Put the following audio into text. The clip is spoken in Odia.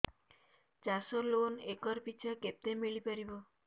ଚାଷ ଲୋନ୍ ଏକର୍ ପିଛା କେତେ ମିଳି ପାରିବ